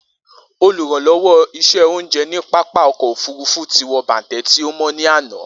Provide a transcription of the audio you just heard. Oluranlowo iṣẹ ounjẹ ni pápá ọkọ ofurufu ti wọ bàntẹ́ ti o mọ ni ana.